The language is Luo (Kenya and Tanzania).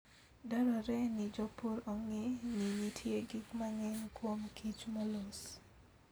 Dwarore ni jopur ong'e ni nitie gik mang'eny kuom kich molos.